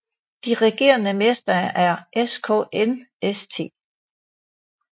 De regerende mester er SKN St